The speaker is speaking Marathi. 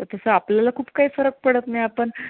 तसं आपल्याला खूप काही फरक पडत नाही आपण